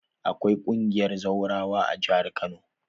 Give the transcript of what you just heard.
Akwai ƙungiyar zawrawa a jihar Kano.